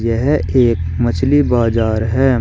यह एक मछली बाजार है।